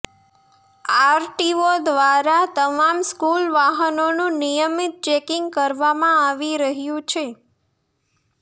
RTO દ્વારા તમામ school વાહનોનું નિયમિત ચેકિંગ કરવામાં આવી રહયું છે